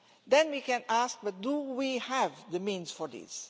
Then we can ask but do we have the means for this?